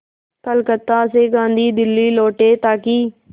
कलकत्ता से गांधी दिल्ली लौटे ताकि